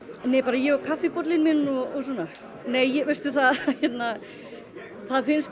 nei bara ég og kaffibollinn minn og svona nei veistu það það finnst